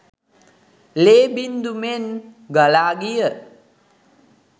ලේ බිංදු මෙන් ගලා ගිය